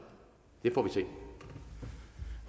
vil se